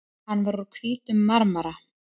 Hann var úr hvítum marmara.